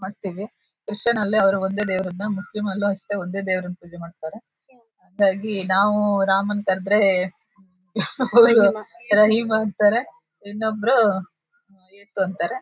ಮತ್ತೆ ಕ್ರಿಶಿಯನ್ ಅಲ್ಲಿ ಅವರು ವಂದೇ ದೇವ್ರನ್ನ ಮುಸ್ಲಿಂ ಅಲ್ಲು ಒಂದೇ ದೇವ್ರನ್ನ ಪೂಜೆ ಮಾಡತಾರೆ ಹಾಗಾಗಿ ನಾವು ರಾಮನ ಕರೆದರೆ ರಹೀಮ ಅಂತಾರೆ ಇನ್ನೊಬ್ರು ಯೇಸು ಅಂತಾರೆ.